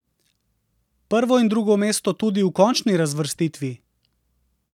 Prvo in drugo mesto tudi v končni razvrstitvi?